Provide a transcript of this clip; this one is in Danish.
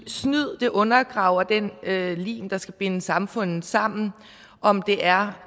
snyd undergraver den lim der skal binde samfundet sammen om det er